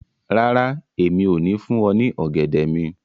Rara, Emi o ni fun ọ ni ogẹdẹ mi